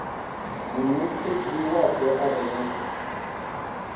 muṋetshedzi wapo a re na